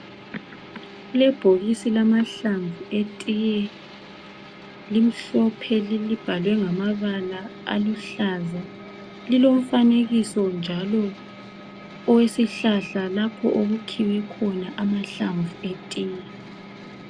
Kulebhokisi lamahlamvu etiye. Limhlophe libhalwe ngamabala aluhlaza. Lilomfanekiso njalo owesihlahla lapho okukhiwe khona amahlamvu etiye.